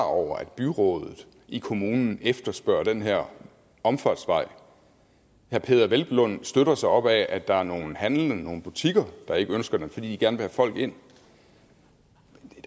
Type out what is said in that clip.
over at byrådet i kommunen efterspørger den her omfartsvej herre peder hvelplund støtter sig op ad at der er nogle handlende nogle butikker der ikke ønsker den fordi de gerne vil have folk ind